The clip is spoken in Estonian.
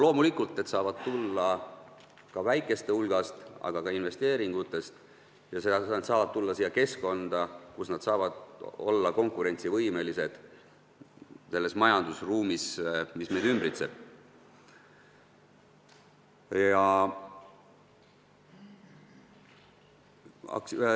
Loomulikult saavad nad tulla ka väikeste maksumaksjate hulgast, aga nad tulevad ka investeeringutest ja nad tulevad keskkonda, kus nad saavad olla ümbritsevas majandusruumis konkurentsivõimelised.